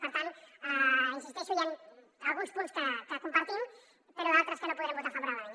per tant hi insisteixo hi han alguns punts que compartim però d’altres que no podrem votar favorablement